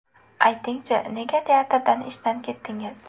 Ayting-chi, nega teatrdan ishdan ketdingiz?